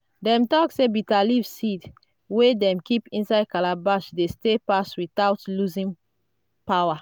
dem talk say bitterleaf seed wey dem keep inside calabash dey stay pass without losing power.